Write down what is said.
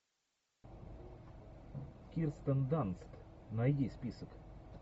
кирстен данст найди список